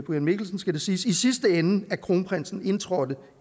mikkelsen skal det siges i sidste ende at kronprinsen indtrådte